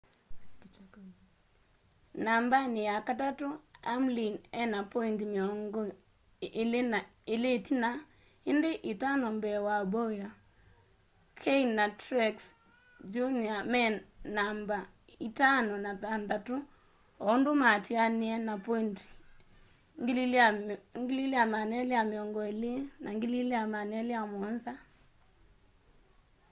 nambani yakatatu hamlin ena pointi miongo ili itina indi itano mbee wa bowyer kahne na truex jr me namba itano na thantatu o undu maatianie na pointi 2,220 na 2,207